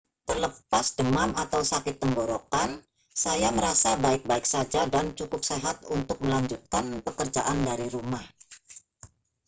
terlepas demam atau sakit tenggorokan saya merasa baik-baik saja dan cukup sehat untuk melanjutkan pekerjaan dari rumah